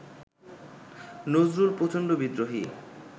নজরুল প্রচণ্ড বিদ্রোহী